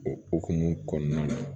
O okumu kɔnɔna na